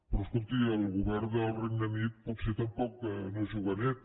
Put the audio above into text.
però escolti el govern del regne unit potser tampoc no juga net